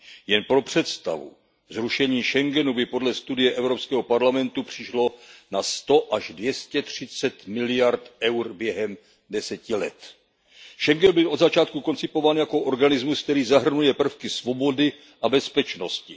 Jen pro představu, zrušení schengenského prostoru by podle studie Evropského parlamentu přišlo na sto až dvě stě třicet miliard EUR během deseti let. Schengenský prostor byl od začátku koncipován jako organismus, který zahrnuje prvky svobody a bezpečnosti.